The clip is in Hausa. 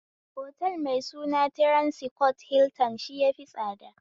Otal mai suna tiransikof hiltan shi yafi tsada